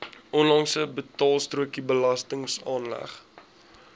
onlangse betaalstrokie belastingaanslag